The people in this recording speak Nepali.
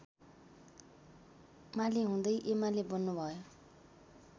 मालेहुँदै एमाले बन्नुभयो